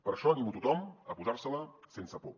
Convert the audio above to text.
per això animo tothom a posar se la sense por